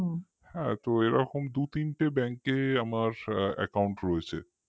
হ্যাঁ তো এরকম দু তিনটে bank কে আমার account রয়েছে